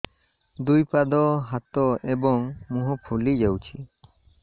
ଦୁଇ ପାଦ ହାତ ଏବଂ ମୁହଁ ଫୁଲି ଯାଉଛି